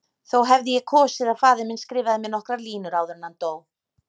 Þó hefði ég kosið að faðir minn skrifaði mér nokkrar línur áður en hann dó.